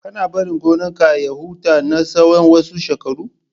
Kana barin gonar ka ya huta na tsawan wasu shekaru?